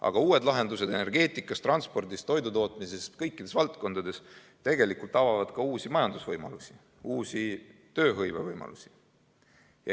Aga uued lahendused energeetikas, transpordis, toidutootmises ja kõikides muudes valdkondades tegelikult avavad ka uusi majandusvõimalusi, uusi tööhõivevõimalusi.